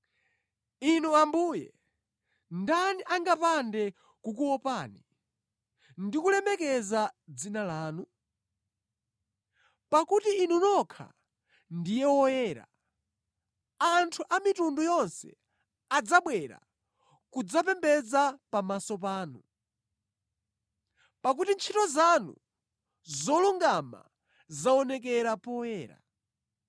Inu Ambuye, ndani angapande kukuopani, ndi kulemekeza dzina lanu? Pakuti Inu nokha ndiye woyera. Anthu a mitundu yonse adzabwera kudzapembedza pamaso panu, pakuti ntchito zanu zolungama zaonekera poyera.”